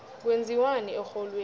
kwenziwani erholweni